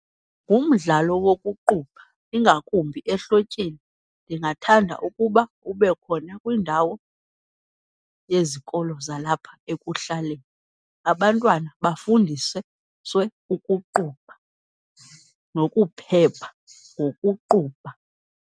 Ngumdlalo wokuqubha ingakumbi ehlotyeni ndingathanda ukuba ube khona kwiindawo yezikolo zalapha ekuhlaleni, abantwana bafundise ukuqubha, nokuphepha ngokuqubha.